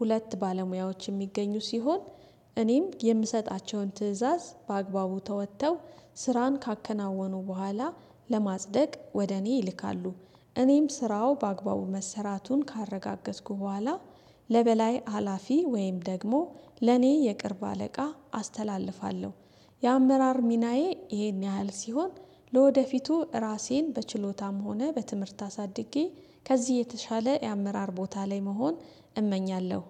ሁለት ባለሙያዎች የሚገኙ ሲሆን እኔም የምሰጣቸውን ትእዛዝ በአግባቡ ተወጥተው ስራን ካከናወኑ በኋላ ለማጽደቅ ወደ እኔ ይልካሉ እኔም ስራው በአግባቡ መሰራቱን ካረጋገጥኩ በኋላ ለበላይ ሀላፊ ወይም ደግሞ ለኔ የቅርብ አለቃ አስተላልፋለሁ። የአመራር ሚናዬ ይሄን ያህል ሲሆን ለወደፊቱ ራሴን በችሎታም ሆነ በትምህርት አሳድጌ ከዚህ የተሻለ የአመራር ቦታ ላይ መሆን እመኛለሁ